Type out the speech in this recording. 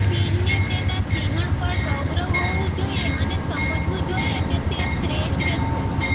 સિંહને તેના સિંહણ પર ગૌરવ હોવું જોઈએ અને સમજવું જોઈએ કે તે શ્રેષ્ઠ છે